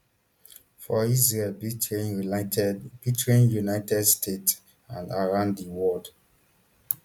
for israel britain united britain united states and around di world